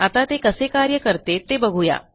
आता ते कसे कार्य करते ते बघू या